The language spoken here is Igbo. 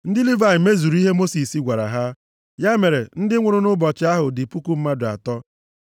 Ndị Livayị mezuru ihe Mosis gwara ha. Ya mere ndị nwụrụ nʼụbọchị ahụ dị puku mmadụ atọ.